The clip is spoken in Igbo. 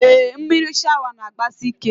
Ee, mmiri shawa n'agbasi ike